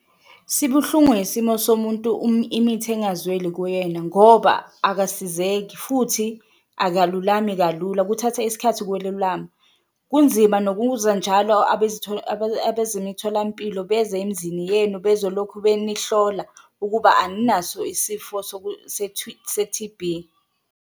Sibuhlungu isimo somuntu imithi engazweli kuyena ngoba akasizeki futhi akalulami kalula kuthatha isikhathi ukwelulama. Kunzima nokuza njalo abezemitholampilo beze emzini yenu bezolokhu benihlola ukuba aninaso isifo se-T_B.